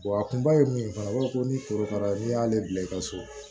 a kunbaba ye min ye fana u b'a fɔ ko ni kororokara n'i y'ale bila i ka so